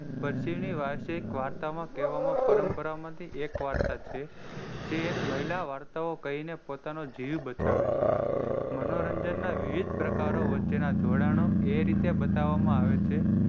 પછીની વાર્તામાં કહેવામાં પરમ્પરામાંની એક વાર્તા છે. જે એક મહિલા એ વાર્તા કહીને પોતાનો જીવ બચાવે છે. મનોરંજન ના વિવિધ પ્રકારઓ વચ્ચેના જોડાણો એ રીતે બતાવામાં આવે છે.